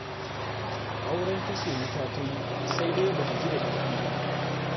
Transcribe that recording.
Auren kashe wuta ta yi, sai dai ba ta ji da daɗi ba.